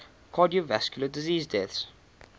cardiovascular disease deaths